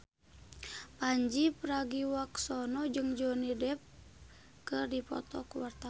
Pandji Pragiwaksono jeung Johnny Depp keur dipoto ku wartawan